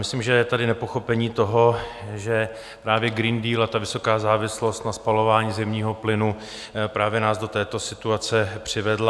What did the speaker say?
Myslím, že je tady nepochopení toho, že právě Green Deal a ta vysoká závislost na spalování zemního plynu právě nás do této situace přivedla.